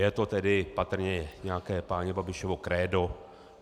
Je to tedy patrně nějaké páně Babišovo krédo.